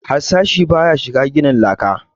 Harsashi ba ya shiga ginin laka